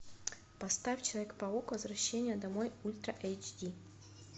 поставь человек паук возвращение домой ультра эйч ди